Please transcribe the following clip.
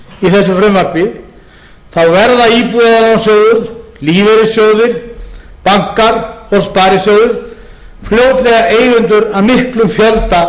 af okkur þingmönnum frjálslynda flokksins í þessu frumvarpi verða íbúðalánasjóður lífeyrissjóðir bankar og sparisjóðir fljótlega eigendur að miklum fjölda